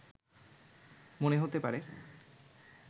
মনে হতে পারে